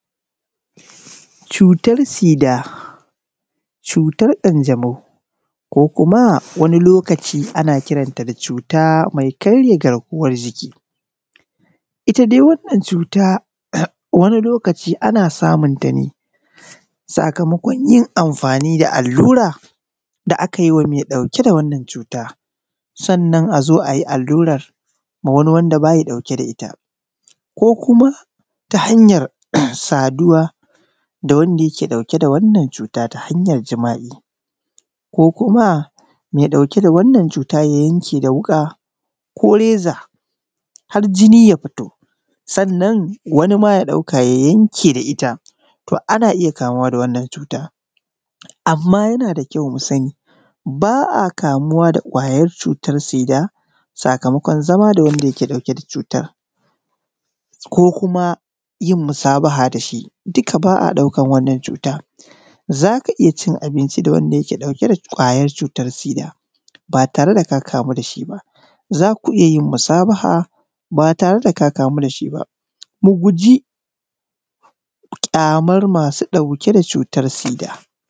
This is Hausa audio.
Cutar sida cutar ƙanjamau wani lokaci ana kiranta da suna cuta mai karya garkuwar jiki. Ita dai wannan cuta wani lokaci ana samunta ne sakamakon yin amfani da allura da aka yi wa mai ɗauke da wannan cuta Sannan a zo a yi amfani da wannan allurar ga wani wanda ba yi dauke da ita ko kuma ta hanyar saduwa da wanda yake ɗauke da wannan cuta ta hanyar jima'i. Ko kuma mai ɗauke da wannan cuta ya yanke da wuƙa ko reza har jini ya fito Sannan wani ma ya ɗauka ya yanke da ita, to ana iya kamuwa da wannan cuta. Amma yana da ƙyau mu sani ba a kamuwa da ƙwayar sida sakamakon zama da wanda yake ɗauke da cutar da ƙwayar sidan ba tare da ka kamu da shi ba za ku iya yin musabaha ba tare da ka kamu da shi ba, mu guji ƙyamar masu ɗauke da c ko kuma yin musabaha da shi duk ba a ɗaukan wannan cuta. Za ka iya cin abinci da wanda yake ɗauke utar sida